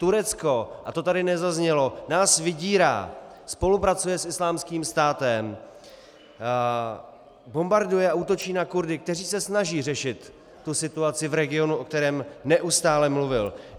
Turecko, a to tady nezaznělo, nás vydírá, spolupracuje s Islámským státem, bombarduje a útočí na Kurdy, kteří se snaží řešit tu situaci v regionu, o kterém nestále mluvil.